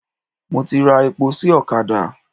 Mo ti ra epo sí ọ̀kadà.